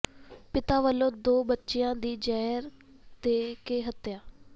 ਪਿਤਾ ਵੱਲੋਂ ਦੋ ਬੱਚਿਆਂ ਦੀ ਜ਼ਹਿਰ ਦੇ ਕੇ ਹੱਤਿਆ